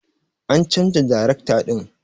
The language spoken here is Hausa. An chanza darekta din.